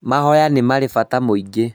Mahoya nĩ marĩ bata muingi